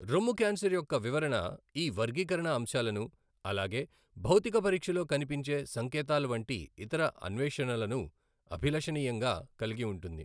రొమ్ము క్యాన్సర్ యొక్క వివరణ ఈ వర్గీకరణ అంశాలను, అలాగే భౌతిక పరీక్షలో కనిపించే సంకేతాల వంటి ఇతర అన్వేషణలను అభిలషణీయంగా కలిగి ఉంటుంది.